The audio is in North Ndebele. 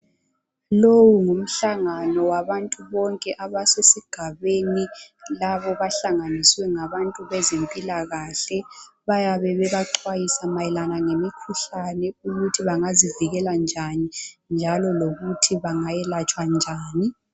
Lowu ngumhlangano wabantu bonke basesigabeni labo bahlanganiswe ngabantu bezempilakahle. Bayabe bebaxwayisa mayelana ngemikhuhlane, ukuthi bangazivikela njani, njalo lokuthi bangayelatshwa njani.